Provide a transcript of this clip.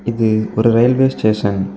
இது ஒரு railway station .